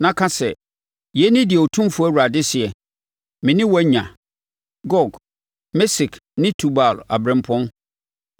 na ka sɛ: ‘Yei ne deɛ Otumfoɔ Awurade seɛ: Me ne wo anya, Gog, Mesek ne Tubal ɔberempɔn.